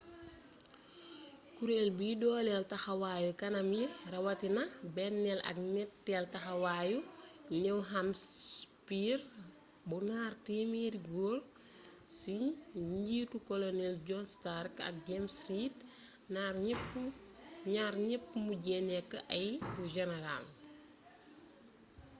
kureel biy doolél taxawaayu kanam yi rawatina bennél ak ñettéel taxawayu new hampshire bu ñaar téemeeri góor ci njiitu colonel jhon stark ak james reed ñaar ñepp mujjé nekk ay generals